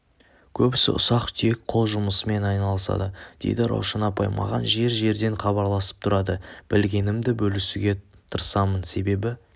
көбісі ұсақ-түйек қол жұмысымен айналысады дейді раушан апай маған жер-жерден хабарласып тұрады білгенімді бөлісуге тырысамын себебі